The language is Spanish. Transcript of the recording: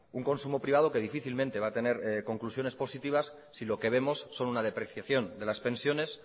un consumo privado que difícilmente va a tener conclusiones positivas si lo que vemos son una depreciación de las pensiones